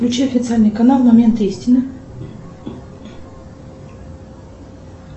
включи официальный канал момент истины